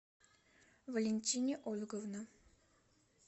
валентине ольговна